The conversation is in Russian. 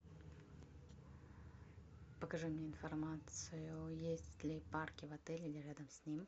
покажи мне информацию есть ли парки в отеле или рядом с ним